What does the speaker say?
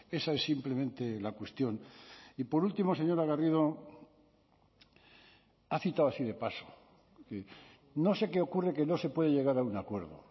esa es simplemente la cuestión y por último señora garrido ha citado así de paso no sé qué ocurre que no se puede llegar a un acuerdo